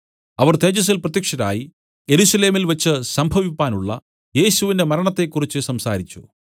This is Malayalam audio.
അവർ തേജസ്സിൽ പ്രത്യക്ഷരായി യെരൂശലേമിൽവച്ചു സംഭവിപ്പാനുള്ള യേശുവിന്റെ മരണത്തെക്കുറിച്ചു സംസാരിച്ചു